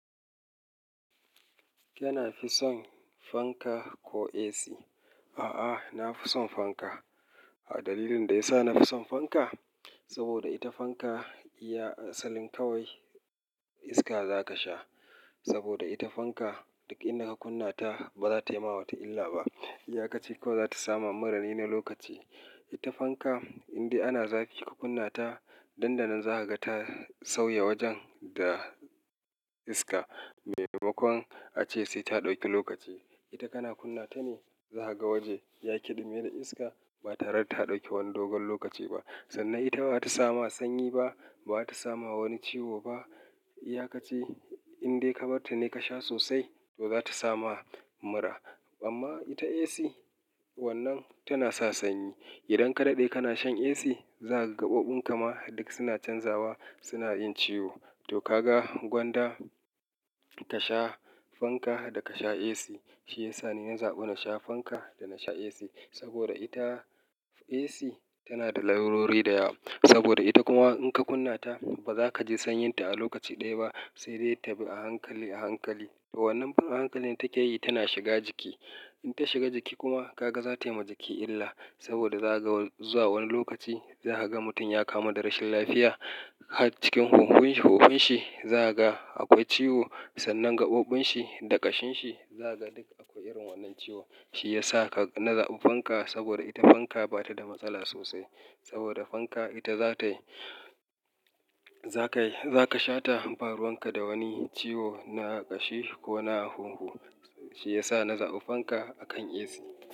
Kana fi son fanka ko AC? A'a, na fi son fanka. Dalilin da ya sa na fi son fanka, saboda ita fanka iya salin kawai iska za ka sha. Saboda ita fanka duk inda ka kunna ta ba za ta yi ma wata illa ba. Iya ka ce ko za ta sama mura ne na lokaci. Ita fanka indai ana zafi ka kunna ta, dandanan za ka ga ta sauya wajen da iska maimakon ace sai ta ɗauki lokaci. Ita kana kunna ta ne, za ka ga waje ya ƙiɗime da iska ba tare da ta ɗauki wani dogon lokaci ba. Sannan ita ba ta sama sanyi ba, ba ta samu wani ciwo ba. Iya ka ci indai ka bar ta ne ka sha sosai, to za ta sama mura. Amma ita AC wannan tana sa sanyi. Idan ka daɗe kana shan AC, za ka ga gaɓoɓin ka ma duk suna canzawa, suna yin ciwo. To ka ga gwanda ta sha fanka da ka sha AC. Shi ya sa ni na zaɓi na sha fanka da na sha AC. Saboda ita AC tana da larurori da yawa. Saboda ita kuma in ka kunna ta, ba za ka ji sanyin ta a lokaci ɗaya ba, sai dai ta bi a hankali a hankali. To wannan hankalin take yi tana shiga jiki. In ta shiga jiki kuma ka ga za ta yi ma jiki illa. Saboda za ka ga zuwa wani lokaci za ka ga mutum ya kamu da rashin lafiya. Cikin huhunshi za ka ga akwai ciwo. Sannan gaɓoɓin shi da ƙashin shi za ka ga duk akwai irin wannan ciwo. Shi ya sa na zaɓi fanka saboda ita fanka ba ta da matsala sosai. Saboda fanka ita za ta yi-- zatai za ka shata baruwan ka da wani ciwo na ƙashi ko na hunhu. Shi ya sa na zaɓi fanka a kan AC.